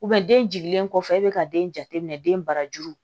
den jiginlen kɔfɛ e bɛ ka den jateminɛ den barajuru